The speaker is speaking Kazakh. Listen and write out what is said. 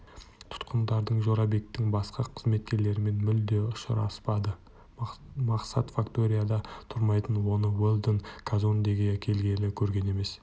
тұтқындар жорабектің басқа қызметкерлерімен мүлде ұшыраспады мақсат факторияда тұрмайтын оны уэлдон казондеге келгелі көрген емес